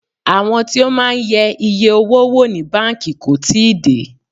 Àwọn tí ó máa ń yẹ iye owó wò ní báńkì kò tíì dé.